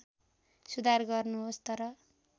सुधार गर्नुहोस् तर